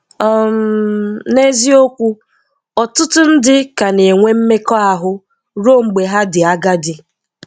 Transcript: um N’ezìokwù, ọtụtụ̀ ndị̀ ka na-enwè mmekọ̀ahụ̀ ruo mgbe ha dị̀ agadi